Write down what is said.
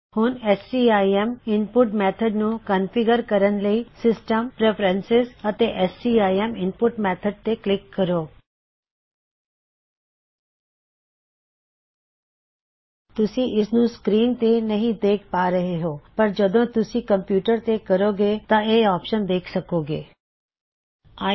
ਹੁਣ CIM input method ਨੂੰ configure ਕਰਨ ਲਈ ਸਿਸਟਮ ਪ੍ਰੇਫਰਨ੍ਸੀਸ ਅਤੇ ਸੀਆਈਐੱਮ ਇਨਪੁਟ ਮੇਥਡ ਤੇ ਕਲਿੱਕ ਕਰੋ ਤੁਸੀਂ ਇਸਨੂਂ ਸਕ੍ਰੀਨ ਤੇ ਨਹੀ ਦੇਖ ਪਾ ਰਹੇ ਹੋ ਪਰ ਜਦੋ ਤੁਸੀਂ ਅਪਣੇ ਕੰਪਿਊਟਰ ਤੇ ਕਰੋ ਗੇ ਤਾਂ ਤੁਸੀਂ ਇਹ ਆਪਸ਼ਨ ਦੇਖ ਸਖੋਂ ਗੇਂ